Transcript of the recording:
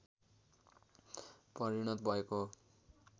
परिणत भएको हो